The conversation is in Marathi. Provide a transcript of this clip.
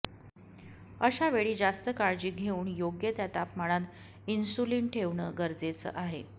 अशावेळी जास्त काळजी घेऊन योग्य त्या तापमानात इन्शुलिन ठेवणे गरजेचे आहे